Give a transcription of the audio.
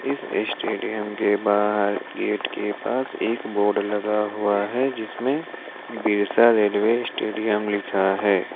इस स्टेडियम के बाहर गेट के पास एक बोर्ड लगा हुआ है जिसमें बीरसा रेलवे स्टेडियम लिखा है।